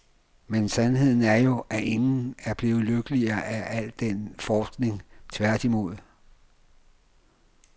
Men sandheden er jo, at ingen er blevet lykkeligere af al den forskning, tværtimod.